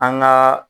An gaa